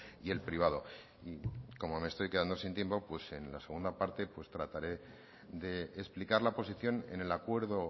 y el privado y como me estoy quedando sin tiempo pues en la segunda parte trataré de explicar la posición en el acuerdo